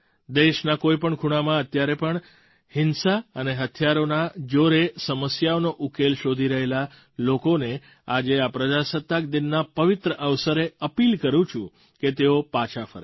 દેશના કોઈ પણ ખૂણામાં અત્યારે પણ હિંસા અને હથિયારના જોરે સમસ્યાઓનો ઉકેલ શોધી રહેલા લોકોને આજે આ પ્રજાસત્તાક દિનના પવિત્ર અવસરે અપીલ કરું છું કે તેઓ પાછા ફરે